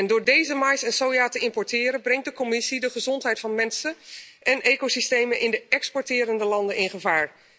Door deze mais en soja te importeren brengt de Commissie de gezondheid van mensen en ecosystemen in de exporterende landen in gevaar.